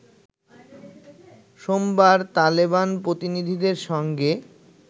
সোমবার তালেবান প্রতিনিধিদের সঙ্গে